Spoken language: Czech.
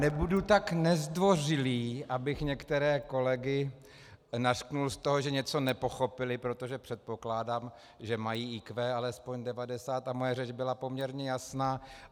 Nebudu tak nezdvořilý, abych některé kolegy nařkl z toho, že něco nepochopili, protože předpokládám, že mají IQ alespoň 90, a moje řeč byla poměrně jasná.